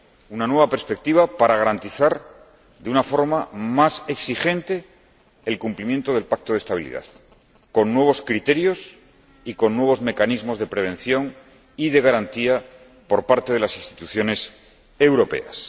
Una nueva perspectiva para garantizar de una forma más exigente el cumplimiento del Pacto de Estabilidad, con nuevos criterios y con nuevos mecanismos de prevención y de garantía por parte de las instituciones europeas.